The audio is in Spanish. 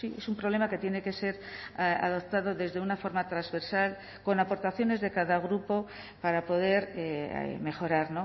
es un problema que tiene que ser adoptado desde una forma transversal con aportaciones de cada grupo para poder mejorar